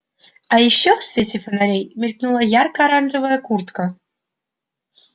а ещё в свете фонарей мелькнула ярко-оранжевая куртка